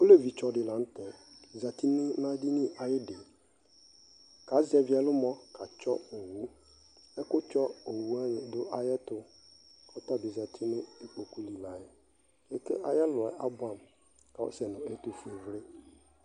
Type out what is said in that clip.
Olevi tsɔ di laŋtɛ zati nʋ edini ayidiKazɛvi ɛlʋmɔ katsɔ owuƐkʋ tsɔ owu wani dʋ ayɛtu ayɛtu, kɔtabi zati nʋ ikpoku li layɛAtɛ ayɛluɛ abuamu, kɔsɛ nu ɛtufue vli